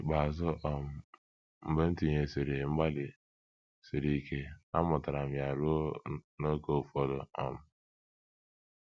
N’ikpeazụ um, mgbe m tinyesịrị mgbalị siri ike, amụtara m ya ruo n’ókè ụfọdụ um.